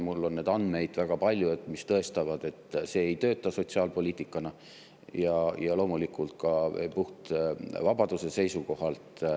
Mul on neid andmeid väga palju, mis tõestavad, et see ei tööta sotsiaalpoliitikana ja loomulikult ka puht vabaduse seisukohalt.